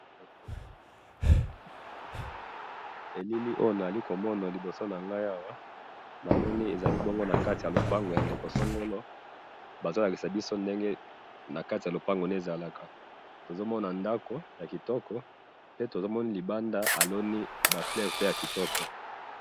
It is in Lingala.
Elili oyo nazali komona liboso na ngai awa, namoni ezali bongo na kati ya lopango ya ndeko songolo, bazo lakisa biso ndenge na kati ya lopango naye ezalaka, tozo mona ndako ya kitoko, pe to moni libanda aloni ba fleurs pe ya kitoko.